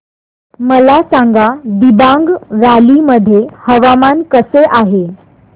मला सांगा दिबांग व्हॅली मध्ये हवामान कसे आहे